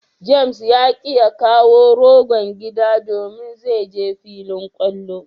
"James " ya ki ya kawo rogon gida domin zai je filin kwallo.